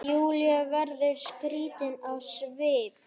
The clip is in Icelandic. Júlía verður skrítin á svip.